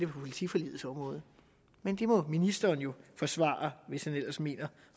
politiforligets område men det må ministeren jo forsvare hvis han ellers mener